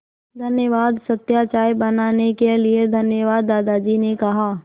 धन्यवाद सत्या चाय बनाने के लिए धन्यवाद दादाजी ने कहा